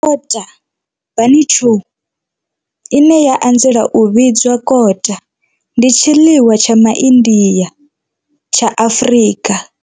Kota, bunny chow, ine ya anzela u vhidzwa kota, ndi tshiḽiwa tsha MaIndia tsha Afrika.